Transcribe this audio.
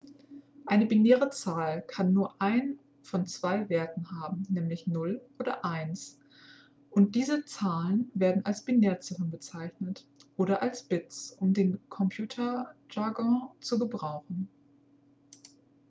eine binäre zahl kann nur einen von zwei werten haben nämlich 0 oder 1 und diese zahlen werden als binärziffern bezeichnet oder als bits um den computerjargon zu gebrauchen